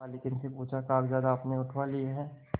मालकिन से पूछाकागजात आपने उठवा लिए हैं